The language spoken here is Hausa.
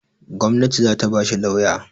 Gwanati zata ba shi lauya